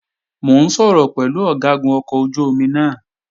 Mò ń sọ̀rọ̀ pẹ̀lú Ọ̀gágun ọkọ̀ ojú-omi náà